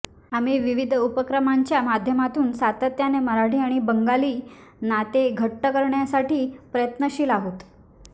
आम्ही विविध उपक्रमांच्या माध्यमातून सातत्याने मराठी आणि बंगाली नाते घट्ट करण्यासाठी प्रयत्नशील आहोत